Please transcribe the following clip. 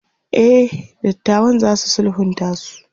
e datawan zasu sulhunta su